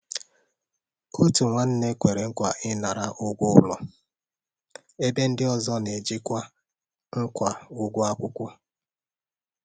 Òtù nwánne kwere nkwa ịnara ụgwọ ụlọ, ebe ndi ọzọ na-ejikwa ngwá ụlọ akwụkwọ.